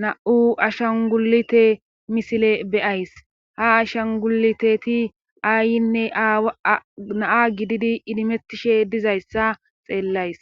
na7u ashan gulite misile beyays ha ashan guliteti aayinne naa gididi idimettishe dizayssa xeellays